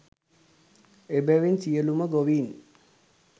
එබැවින් සියලුම ගොවීන්